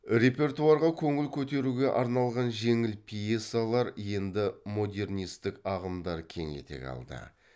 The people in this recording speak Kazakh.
репертуарға көңіл көтеруге арналған жеңіл пьесалар енді модернистік ағымдар кең етек алды